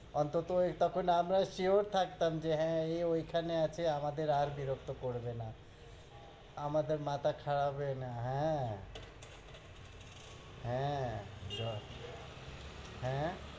অন্তত ওই তখন আমরা sure থাকতাম যে, হ্য়াঁ, এ ওইখানে আছে, আমাদের আর বিরক্ত করবে না আমাদের মাথা খারাপ হবে না হ্য়াঁ, হ্য়াঁ, হ্য়াঁ,